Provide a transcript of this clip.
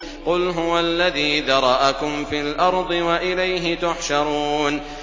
قُلْ هُوَ الَّذِي ذَرَأَكُمْ فِي الْأَرْضِ وَإِلَيْهِ تُحْشَرُونَ